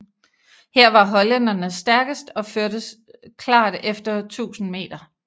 Her var hollænderne stærkest og førte klart efter 1000 m